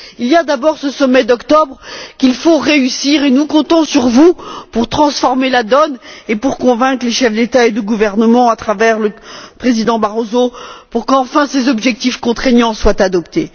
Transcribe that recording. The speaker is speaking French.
Il y a d'abord ce sommet d'octobre qu'il faut réussir. Nous comptons sur vous pour transformer la donne et pour convaincre les chefs d'État et de gouvernement, par l'intermédiaire du président Barroso, pour qu'enfin ces objectifs contraignants soient adoptés.